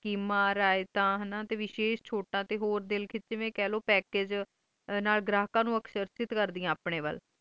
ਸਕੀਮਾਂ ਰਿਆਇਤਾਂ ਤੇ ਵਿਸ਼ੇਸ਼ ਚੋਟਾਂ ਤੇ ਹੋਰ ਦਿਲ ਕਿਚਨ ਲਈ ਪੱਕਾਗੇ ਗ੍ਰਾਹਕਾਂ ਨੋ ਅਕਸ਼ਰਤੀਤ ਕਰਦਿਆਂ ਨੇ ਆਪਣੇ ਵਲ